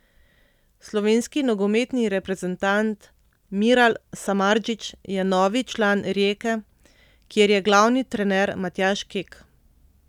Slovenski nogometni reprezentant Miral Samardžić je novi član Rijeke, kjer je glavni trener Matjaž Kek.